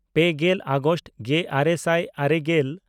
ᱯᱮᱜᱮᱞ ᱟᱜᱚᱥᱴ ᱜᱮᱼᱟᱨᱮ ᱥᱟᱭ ᱟᱨᱮᱜᱮᱞ